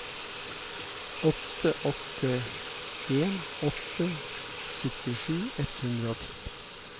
åtte åtte en åtte syttisju ett hundre og ti